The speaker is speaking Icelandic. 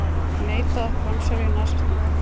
Neita að framselja nasista